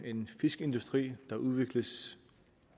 fiskeindustri der udvikles